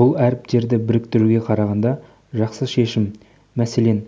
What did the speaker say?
бұл әріптерді біріктіруге қарағанда жақсы шешім мәселен